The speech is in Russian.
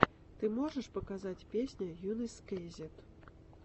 ты можешь показать песня йунесскейзет